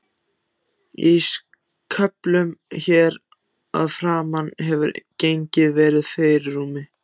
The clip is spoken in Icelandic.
Í köflunum hér að framan hefur genið verið í fyrirrúmi.